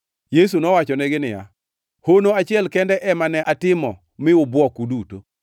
Yesu nowachonegi niya, “Hono achiel kende ema ne atimo mi ubwok uduto.